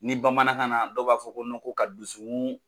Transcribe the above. Ni bamanankan na dɔw b'a fɔ ko ko ka dusukun